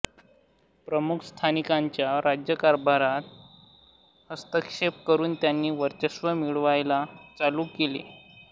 प्रमुख संस्थानिकांच्या राज्यकारभारात हस्तक्षेप करून त्यांनी वर्चस्व मिळवायला चालू केले